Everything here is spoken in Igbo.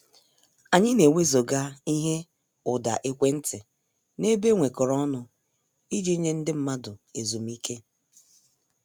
Anyị na-ewezuga ihe ụda ekwentị n'ebe enwekoro ọnụ iji nye ndị mmadụ ezumike.